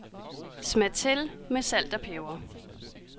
Smag til med salt og peber.